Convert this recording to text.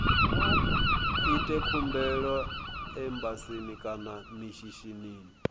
ite khumbelo embasini kana mishinini